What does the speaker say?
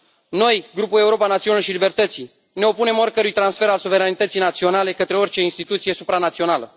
Noi, Grupul Europa Națiunilor și a Libertăților, ne opunem oricărui transfer al suveranității naționale către orice instituție supranațională.